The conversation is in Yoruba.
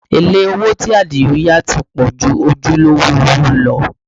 Èlé owó tí Adio yá ti pọ̀ ju ojúlówó owó lọ